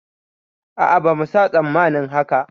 A'a bama sa tsammanin haka